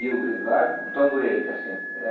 E o Vigário, um tamborete, assim.